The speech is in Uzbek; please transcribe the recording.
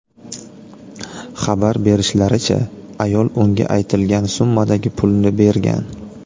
Xabar berishlaricha, ayol unga aytilgan summadagi pulni bergan.